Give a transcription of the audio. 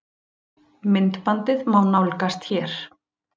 Myndbandið má nálgast hér